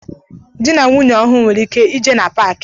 Dị na nwunye ọhụụ nwere ike I je na paaki.